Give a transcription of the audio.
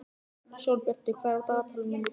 Sólbjartur, hvað er á dagatalinu mínu í dag?